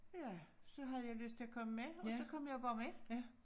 Ja så havde jeg lyst til at komme med og så kom jeg bare med